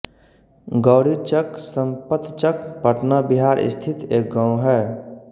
गौरीचक समपतचक पटना बिहार स्थित एक गाँव है